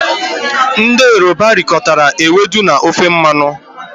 Ndị Yoruba rikọtara ewedu na ofe mmanụ